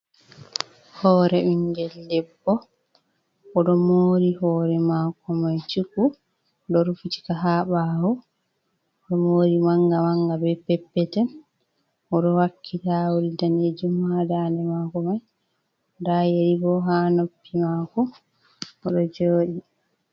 Hore bingel debbo oɗo mori hore mako mai shuku oɗo rufitika ha ɓawo oɗo mori manga manga be peppeten oɗo wakki tawul danejum ha dande mako mai nda yeri bo ha noppi mako oɗo jooɗi.